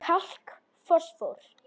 Kalk Fosfór